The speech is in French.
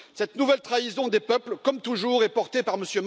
Cette nouvelle trahison des peuples, comme toujours, est portée par M.